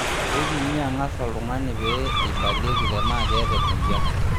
Keipimi ang'as oltungani pee eibalieki tenaa keeta emoyian.